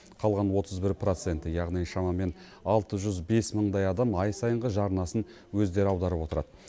қалған отыз бір проценті яғни шамамен алты жүз бес мыңдай адам ай сайынғы жарнасын өздері аударып отырады